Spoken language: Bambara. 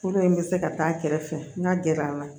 Kolo in bɛ se ka taa a kɛrɛfɛ n ka gɛrɛ an na